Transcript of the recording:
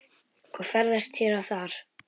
og ferðast hér og þar.